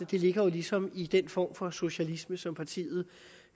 det ligger jo ligesom i den form for socialisme som partiet